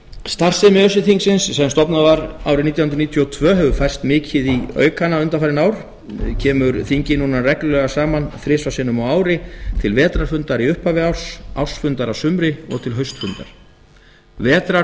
starfsemi öse þingsins sem stofnað var árið nítján hundruð níutíu og tvö hefur færst mikið í aukana undanfarin ár kemur þingið núna reglulega saman þrisvar sinnum á ári til vetrarfundar í upphafi árs ársfundar að sumri og til haustfundar